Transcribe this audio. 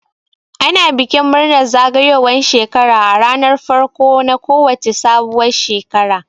Ana bikin murnar zagayowan shekara a ranar farko na ko wace sabuwar shekara